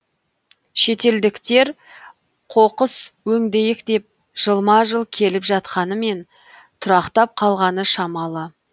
шетелдіктер қоқыс өңдейік деп жылма жыл келіп жатқанымен тұрақтап қалғаны шамалы